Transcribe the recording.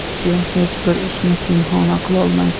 Sen hech bir ishni pinhona qilolmaysan.